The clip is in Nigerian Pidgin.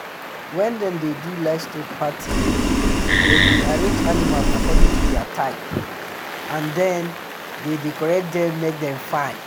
when them dey do livestock party them dey arrange animals according to their type and then dey decorate them make them fine.